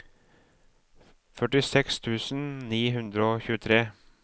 førtiseks tusen ni hundre og tjuetre